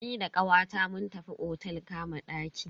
Ni da kawata mun tafi otel kama ɗaki.